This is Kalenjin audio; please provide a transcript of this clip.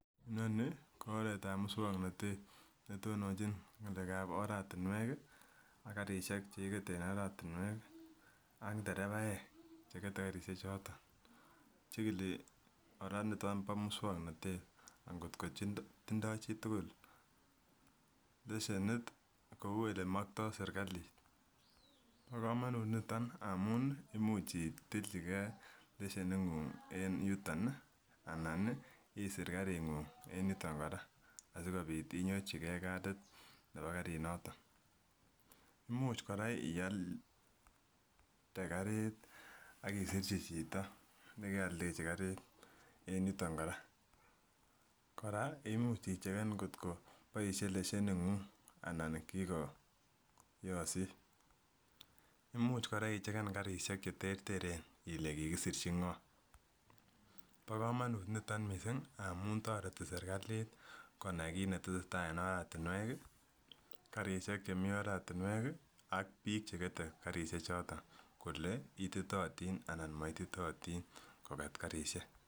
nonii ko oret ab muswoknotet netononchi ngale ab oratinwek kii ak karishek chekikete en oratinwek kii ak derevaek chekete karishek choton. Chikili koraa niton bo muswoknotet akotko tindo chitukul leshenit kou ole mokto serikalit. Bo komonut niton amun imuch itilchi gee lesheni nguny en yuton nii anan nii isir karinguny en yuton koraa asikobit inyorchi gee katit nebo karit noton. Imuch koraa ialde karit ak isirchi chito nekeoldeji karit en yuton koraa. Koraa imuch icheken kotko boishe lesheni guny anan kikoyosit, imuch koraa icheken karishek cheterteren ile kikisirchi ngoo bo komonut niton missing amun toreti serikalit konai kit netesetai en oratinwek kii karishek chemii oretinwek kii ak bik chekete karishek choton kole ititotin anan moititotin koket karishek.